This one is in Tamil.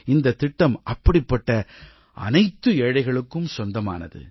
இந்தத்திட்டம் அப்படிப்பட்ட அனைத்து ஏழைகளுக்கும் சொந்தமானது